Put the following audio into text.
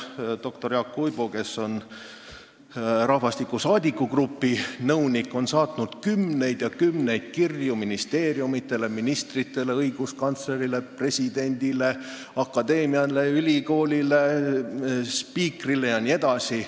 Doktor Jaak Uibu, kes on rahvastiku saadikugrupi nõunik, on saatnud kümneid ja kümneid kirju ministeeriumidele, ministritele, õiguskantslerile, presidendile, akadeemiale, ülikoolile, spiikrile jne.